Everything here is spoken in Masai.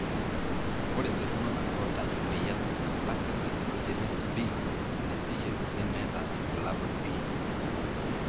ore iltungana oata emoyian lactate dehydrogenase B deficiency nemeeta ilbulabul pii.